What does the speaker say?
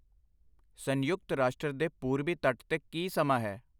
ਸੰਯੁਕਰ ਰਾਸ਼ਟਰ ਦੇ ਪੂੂਰਬੀ ਤੱਟ ਤੇ ਕੀ ਸਮਾਂ ਹੈ?